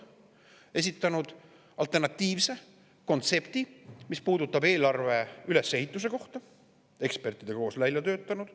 Me oleme esitanud alternatiivse kontsepti, mis puudutab eelarve ülesehitust, me oleme selle ekspertidega koos välja töötanud.